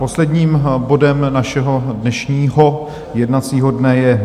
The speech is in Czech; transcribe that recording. Posledním bodem našeho dnešního jednací dne je